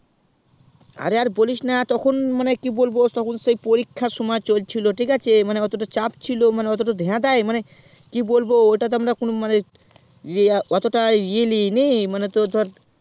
আরে আর বলিস না তখন মানে কি বলবো তখন সেই পরীক্ষার সময় চলছিল অতটা চাপ ছিল মানে অতোটা ঢেদাই নি মানে কি বলবো ওটা তো কোনো মানে অতটা ই লিয়েনি মানে তোর ধর